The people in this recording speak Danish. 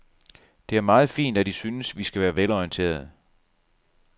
Det er meget fint, at I synes, vi skal være velorienterede.